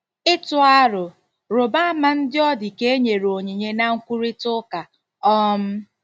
Ịtụ aro: Rụba ama ndị ọdị ka-enyere onyinye na nkwurịta ụka. um